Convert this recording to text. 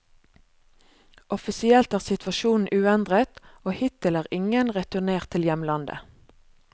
Offisielt er situasjonen uendret, og hittil er ingen returnert til hjemlandet.